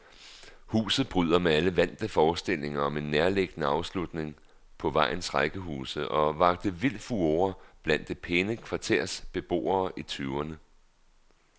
Huset bryder med alle vante forestillinger om en nærliggende afslutning på vejens rækkehuse, og vakte vild furore blandt det pæne kvarters beboere i tyverne.